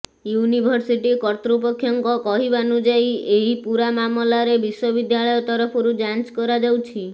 university କର୍ତ୍ତପକ୍ଷଙ୍କ କହିବାନୁଯାୟୀ ଏହି ପୂରା ମାମଲାରେ ବିଶ୍ୱବିଦ୍ୟାଳୟ ତରଫରୁ ଯାଞ୍ଚ କରାଯାଉଛି